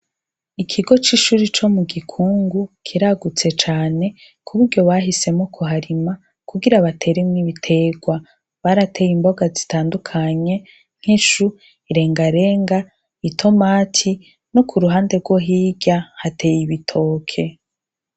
Ikigo cishure ryo mugikungu kiragutse cane kuburyo bahisemwo kuhariha kugira bateremwo ibiterwa bateye imboga zitandukanye nkishu irengarenga itomati no kuruhande rwo hirya hateye ibitoke